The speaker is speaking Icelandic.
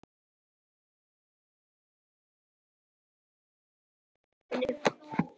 Magnús: Fallega hugsað hjá stelpunni?